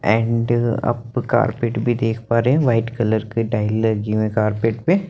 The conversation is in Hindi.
एंड आप कारपेट भी देख पा रहे है वाइट कलर की ड्राइंग लगी हुई है कारपेट पे --